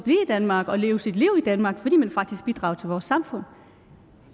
danmark og leve sit liv i danmark fordi man faktisk bidrager til vores samfund